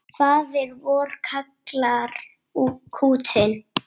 Faðir vor kallar kútinn.